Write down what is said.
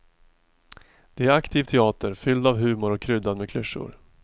Det är aktiv teater, fylld av humor och kryddad med klyschor.